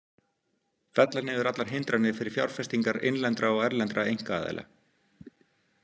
Fella niður allar hindranir fyrir fjárfestingar innlendra og erlendra einkaaðila.